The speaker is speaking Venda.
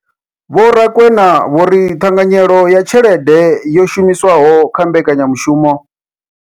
Vho Rakwena vho ri ṱhanganyelo ya tshelede yo shumiswaho kha mbekanya mushumo.